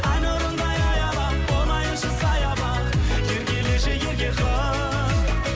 ай нұрындай аялап болайыншы саябақ еркелеші ерке қыз